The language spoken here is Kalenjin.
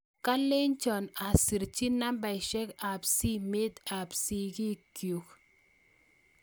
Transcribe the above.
Kolenjon aserchi nambeshek ab simet ab sikik chuk